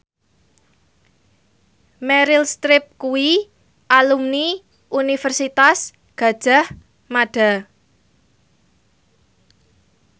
Meryl Streep kuwi alumni Universitas Gadjah Mada